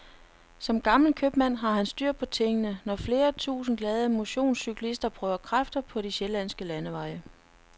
Som gammel købmand har han styr på tingene, når flere tusind glade motionscyklister prøver kræfter på de sjællandske landeveje.